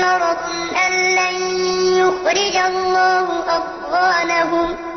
مَّرَضٌ أَن لَّن يُخْرِجَ اللَّهُ أَضْغَانَهُمْ